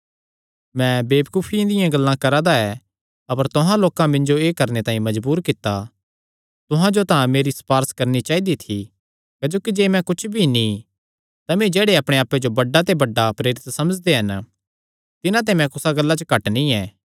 मैं वेबकूफिया दियां गल्लां करा दा ऐ अपर तुहां लोकां मिन्जो एह़ करणे तांई मजबूर कित्ता तुहां जो तां मेरी सपारस करणी चाइदी थी क्जोकि जे मैं कुच्छ भी नीं तमी जेह्ड़े अपणे आप्पे जो बड्डे ते बड्डा प्रेरित समझदे हन तिन्हां ते मैं कुसा गल्ला च घट नीं ऐ